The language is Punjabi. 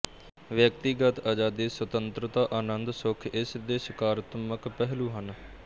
ਵਿਅਕਤੀਗਤ ਆਜਾਦੀ ਸੁਤੰਤਰਤਾ ਆਨੰਦ ਸੁੱਖ ਇਸ ਦੇ ਸਕਾਰਤਮਕ ਪਹਿਲੂ ਹਨ